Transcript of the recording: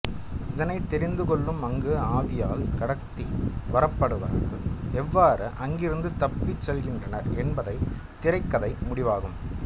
இதனைத் தெரிந்து கொள்ளும் அங்கு ஆவியால் கடத்தி வரப்பட்டவர்கள் எவ்வாறு அங்கிருந்து தப்பிச்செல்கின்றனர் என்பது திரைக்கதை முடிவாகும்